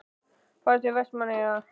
Ferðu til Vestmannaeyja?